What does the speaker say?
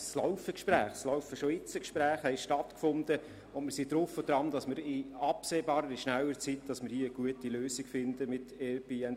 Es laufen bereits jetzt Gespräche, und wir sind drauf und dran in absehbarer Zeit eine gute Lösung mit Airbnb zu finden.